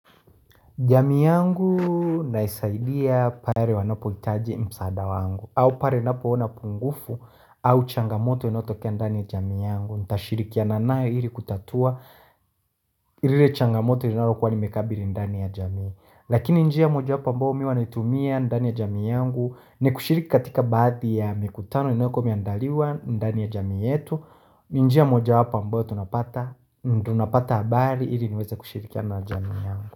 Jamii yangu naisaidia pare wanapo itaji msaada wangu au pare napo ona pungufu au changamoto inayotokea ndani ya jamii yangu Ntashirikiana nayo iri kutatua rile changamoto linalokuwa nimekabili ndani ya jami Lakini njia moja wapo mbao mi huwa naitumia ndani ya jami yangu ni kushiriki katika baadhi ya mikutano inayokuwa miandaliwa ndani ya jami yetu ni njia moja wapo ambao tunapata habari iri niweze kushirikiana na jami yangu.